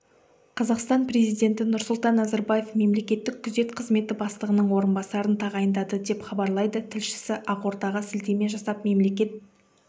қазақстан президенті нұрсұлтан назарбаевмемлекеттік күзет қызметі бастығының орынбасарын тағайындады деп хабарлайды тілшісі ақордаға сілтеме жасап мемлекет